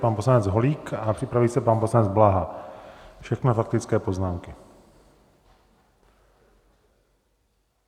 Pan poslanec Holík a připraví se pan poslanec Blaha, všechno faktické poznámky.